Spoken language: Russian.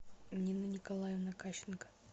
нина николаевна кащенко